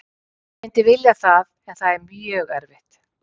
Ég myndi vilja það en það er mjög erfitt.